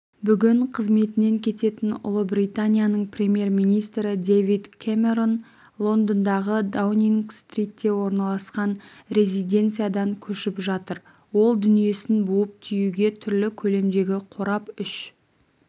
бүгін қызметінен кететін ұлыбританияның премьер-министрі дэвид кэмерон лондондағыдаунинг-стритте орналасқан резиденциядан көшіп жатыр ол дүниесін буып-тиюге түрлі көлемдегі қорап үш